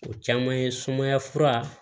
O caman ye sumaya fura